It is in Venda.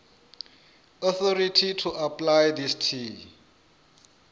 authority to apply tshi tea